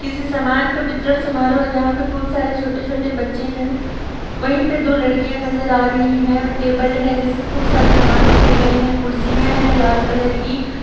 किसी समान का वितरण समारोह है जहा पे खूब सारे छोटे-छोटे बच्चे है वही पे दो लड़किया नजर आ रही है टेबल है जिसमे खूब सारे समान रखहे गए हैं। खुर्सिया है लाल कलर की --